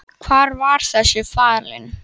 Sunna: Hvar var þessi falinn?